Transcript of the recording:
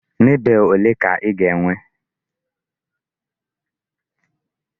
Marble ole ka ị ga-enwe?